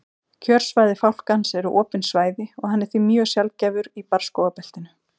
kjörsvæði fálkans eru opin svæði og hann er því mjög sjaldgæfur í barrskógabeltinu